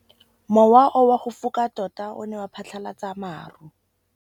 Mowa o wa go foka tota o ne wa phatlalatsa maru.